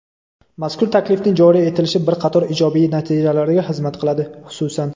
Mazkur taklifning joriy etilishi bir qator ijobiy natijalarga xizmat qiladi, xususan:.